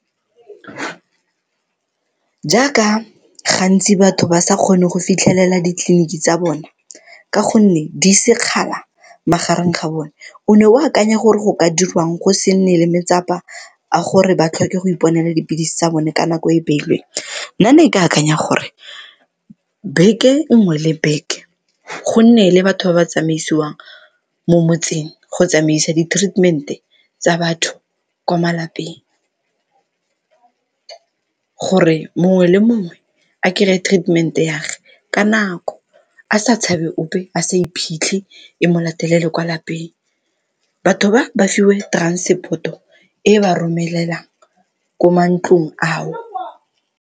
Jaaka gantsi batho ba sa kgone go fitlhelela di-clinic tsa bone ka gonne di sekgala magareng ga bone, o ne o akanya gore go ka dirwang go se nne le a gore ba tlhoke go iponela dipilisi tsa bone ka nako e e beilweng? Nna ne ke akanya gore, beke nngwe le beke go nne le batho ba ba tsamaisiwang mo motseng go tsamaisa di-treatment-e tsa batho kwa malapeng, gore mongwe le mongwe a kry-e treatment-e ya gage ka nako a sa tshabe ope, a sa iphitlhe, e mo latelele kwa lapeng, batho ba ba fiwe transport-o e ba romelelang ko mantlong ao.